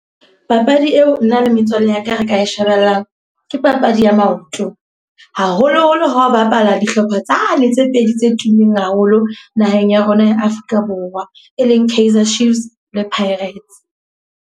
Papadi eo nna le metswalle ya ka re ka e shebellang, ke papadi ya maoto. Haholo-holo ha o bapala dihlopha tsane tse pedi tse tummeng haholo naheng ya rona ya Afrika Borwa. E leng Kaizer Chiefs le Pirates.